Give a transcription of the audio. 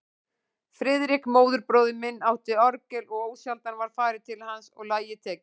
Friðrik, móðurbróðir minn, átti orgel og ósjaldan var farið til hans og lagið tekið.